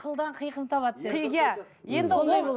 қылдан қиқым табады деп иә енді ол